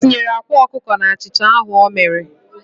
O tinyere akwa okuko n'achicha ahu o mere.